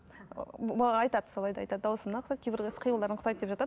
ыыы маған айтады солай да айтады дауысың да ұқсайды кейбір іс қимылдарың ұқсайды деп жатады